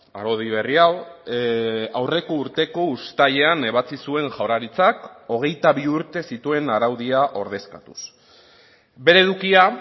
araudi berri hau aurreko urteko uztailean ebatzi zuen jaurlaritzak hogeita bi urte zituen araudia ordezkatuz bere edukia